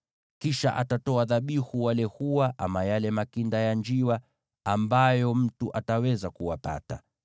Kisha atatoa dhabihu wale hua ama yale makinda ya njiwa ambayo mtu ataweza kuwapata,